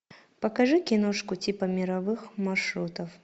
покажи киношку типа мировых маршрутов